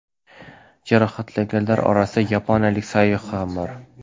Jarohatlanganlar orasida yaponiyalik sayyoh ham bor.